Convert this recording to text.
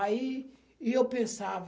Aí e eu pensava...